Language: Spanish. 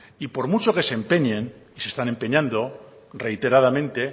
y por mucho que se empeñen se están empeñando reiteradamente